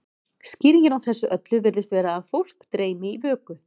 skýringin á þessu öllu virðist vera að fólk dreymi í vöku